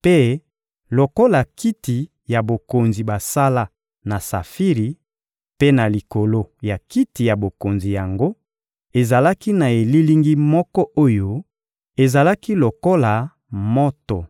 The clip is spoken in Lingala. mpe lokola kiti ya bokonzi basala na safiri; mpe na likolo ya kiti ya bokonzi yango, ezalaki na elilingi moko oyo ezalaki lokola moto.